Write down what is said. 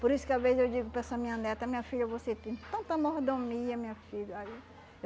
Por isso que às vezes eu digo para essa minha neta, minha filha, você tem tanta mordomia, minha filha. Aí